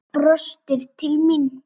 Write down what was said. Brostir til mín.